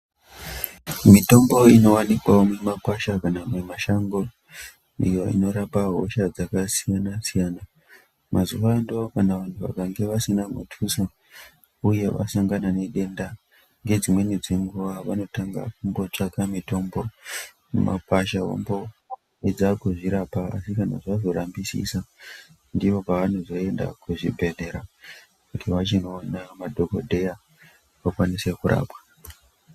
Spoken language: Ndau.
Mitombo inovanikwavo mumakwasha kana kuti mumashango iyo inorapa hosha dzakasiyana-siya. Mazuva ano kana vantu vakange vasina mutuso, uye vasangana nedenda ngedzimweni dzenguva vanotanga kungotsvaka mitombo mumakwasha vomboedza kuzvirapa asi kana zvazorambisisa ndipo pavanozoenda kuzvibhedhlera. Kuti vachinoona madhogodheya vakwanise kurapwa.